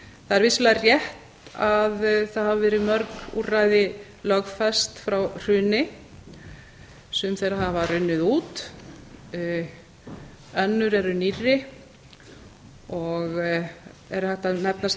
það er vissulega rétt að það hafa verið mörg úrræði lögfest frá hruni sum þeirra hafa runnið út önnur eru nýrri og er hægt að nefna sem